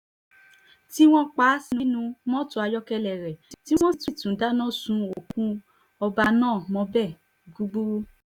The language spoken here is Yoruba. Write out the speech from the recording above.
tí wọ́n pa á sínú mọ́tò ayọ́kẹ́lẹ́ rẹ̀ tí wọ́n sì tún dáná sun òkú ọba náà mọ́bẹ̀ gbúgbúrú